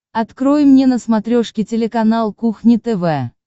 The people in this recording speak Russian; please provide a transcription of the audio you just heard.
открой мне на смотрешке телеканал кухня тв